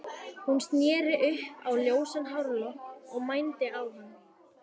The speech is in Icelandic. Hún sneri upp á ljósan hárlokk og mændi á hann.